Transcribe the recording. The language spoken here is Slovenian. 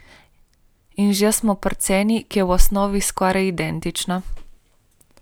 In že smo pri ceni, ki je v osnovi skoraj identična.